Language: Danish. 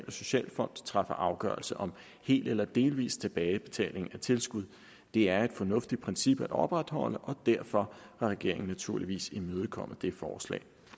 og socialfonden træffer afgørelse om hel eller delvis tilbagebetaling af tilskud det er et fornuftigt princip at opretholde og derfor har regeringen naturligvis imødekommet det forslag